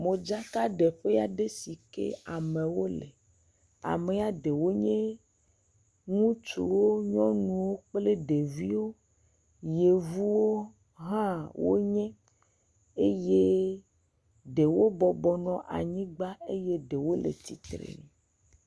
Modzaka ɖe ƒea ɖe si ke amewo le, amea ɖewo nye, ŋutsuwo, nyɔnuwo kple ɖeviwo, yevuwo hã wo nye, eye ɖewo bɔbɔnɔ anyigba eye ɖewo le.tsitre nu.